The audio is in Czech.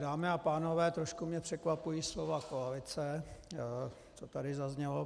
Dámy a pánové, trošku mě překvapují slova koalice, co tady zaznělo.